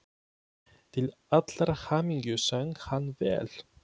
Til allrar hamingju söng hann vel!